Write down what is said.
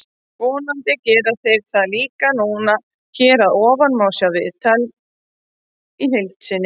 Vonandi gera þeir það líka núna. Hér að ofan má sjá viðtalið í heild sinni.